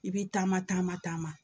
I bi taama taama taama